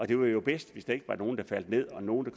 det var jo bedst hvis der ikke var nogen der faldt ned og nogen